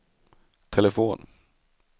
telefon